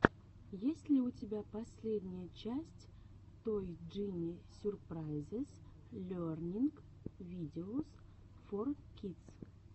есть ли у тебя последняя часть той джини сюрпрайзес лернинг видеос фор кидс